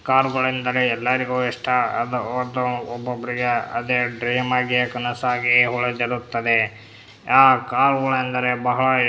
car ಗಳು ಎಂದ್ರೆ ಎಲ್ಲರಿಗೂ ಇಷ್ಟ ಅದು ಒಬ್ಬೊಬ್ಬರಿಗೆ ಅದೇ ಡ್ರೀಮ್ ಆಗಿ ಕನ್ಸಾಗಿ ಉಳಿದಿರುತ್ತದೆ ಆ ಕಾರ್ ಗಳು ಎಂದರೆ ಬಹಳ --